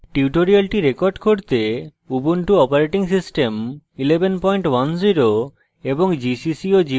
tutorial record করতে ubuntu operating system 1110 এবং